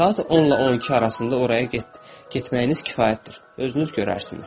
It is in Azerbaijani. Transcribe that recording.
Saat 10-la 12 arasında oraya getməyiniz kifayətdir, özünüz görərsiniz.